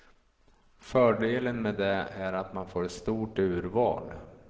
Fördelen med det är att man får ett stort urval.